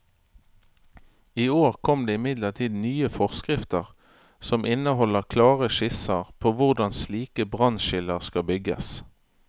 I år kom det imidlertid nye forskrifter som inneholder klare skisser på hvordan slike brannskiller skal bygges.